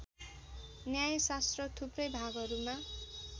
न्यायशास्त्र थुप्रै भागहरूमा